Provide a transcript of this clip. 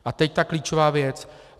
A teď ta klíčová věc.